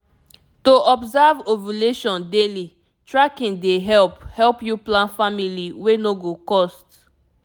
to observe ovulation daily tracking dey help help you plan family wey no go cost